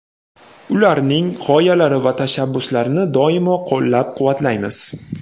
ularning g‘oyalari va tashabbuslarini doimo qo‘llab-quvvatlaymiz.